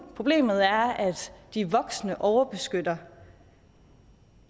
at problemet er at de voksne overbeskytter